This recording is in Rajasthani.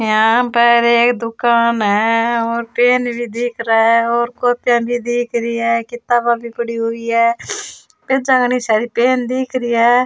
यहाँ पर एक दुकान है और पेन भी दिख रा है और कॉपियां भी दिख रही है किताबा भी पड़ी हुई है घनी सारी पेन दिख री है।